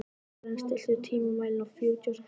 Sören, stilltu tímamælinn á fjörutíu og sex mínútur.